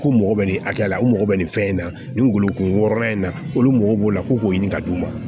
K'u mago bɛ nin hakɛya la u mago bɛ nin fɛn in na nin golo kun wɔɔrɔnan in na olu mago b'o la ko k'o ɲini ka d'u ma